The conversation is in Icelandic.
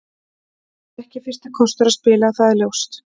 Það er ekki fyrsti kostur að spila, það er ljóst.